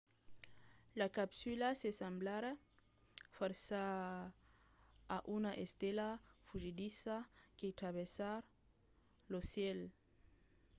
la capsula se semblarà fòrça a una estela fugidissa que travèrsa lo cèl